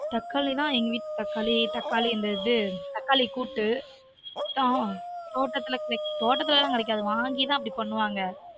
தக்காளி நா எங்க வீட் தக்காளி தக்காளி இந்த இது தக்காளி கூட்டு அதான் தோட்டத்துல கெடைக்கு தோட்டத்துலலா கெடைக்காது வாங்கி தான் அப்பிடி பண்ணுவாங்க